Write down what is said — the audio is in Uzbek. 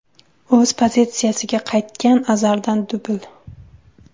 O‘z pozitsiyasiga qaytgan Azardan dubl.